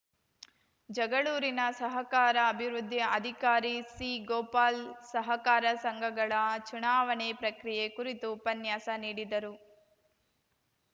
ಜಗಳೂರಿನ ಸಹಕಾರ ಅಭಿವೃದ್ಧಿ ಅಧಿಕಾರಿ ಸಿಗೋಪಾಲ್‌ ಸಹಕಾರ ಸಂಘಗಳ ಚುನಾವಣೆ ಪ್ರಕ್ರಿಯೆ ಕುರಿತು ಉಪನ್ಯಾಸ ನೀಡಿದರು